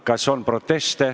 Kas on proteste?